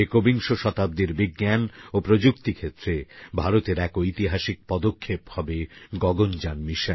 একবিংশ শতাব্দীর বিজ্ঞান ও প্রযুক্তিক্ষেত্রে ভারতের এক ঐতিহাসিক পদক্ষেপ হবে গগনযান মিশন